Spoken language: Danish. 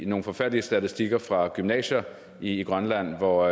nogle forfærdelige statistikker fra gymnasier i grønland hvor